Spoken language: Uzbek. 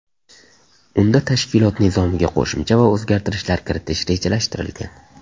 Unda tashkilot nizomiga qo‘shimcha va o‘zgartirishlar kiritish rejalashtirilgan.